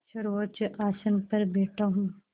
सर्वोच्च आसन पर बैठा हूँ